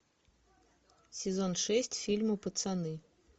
сезон шесть фильма пацаны